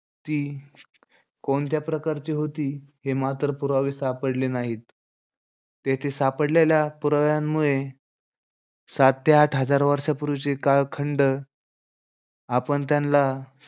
ती कोणत्या प्रकारची होती, हे मात्र पुरावे सापडले नाहीत. तेथे सापडलेल्या पुराव्यांमुळे सात ते आठ हजार वर्षापूर्वीचे कालखंड आपण त्यान्ला,